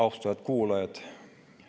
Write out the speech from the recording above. Austatud kuulajad!